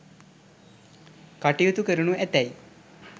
කටයුතු කරනු ඇතැයි